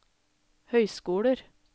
høyskoler